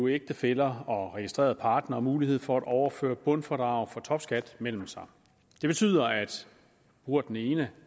ægtefæller og registrerede partnere mulighed for at overføre bundfradraget for topskat mellem sig det betyder at bruger den ene